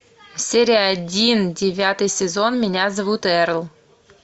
серия один девятый сезон меня зовут эрл